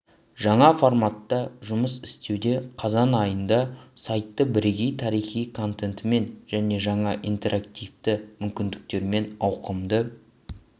жаңа форматта жұмыс істеуде қазан айында сайты бірегей тарихи контентімен және жаңа интерактивті мүмкіндіктерімен ауқымды